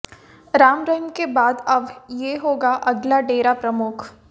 राम रहीम के बाद अब ये होगा अगला डेरा प्रमुख